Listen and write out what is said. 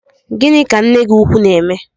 Gini ka nne gi ukwu na-eme?